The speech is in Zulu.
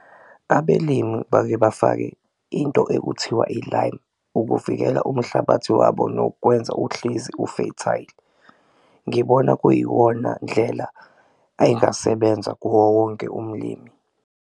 Abelimi bake bafake into ekuthiwa i-lime ukuvikela umuhlabathi wabo nokwenza uhlezi u-fertile, ngibona kuyiwona ndlela angayisebenza kuwo wonke umlimi.